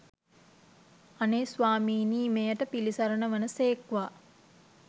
අනේ ස්වාමීනී මෙයට පිළිසරණ වන සේක්වා!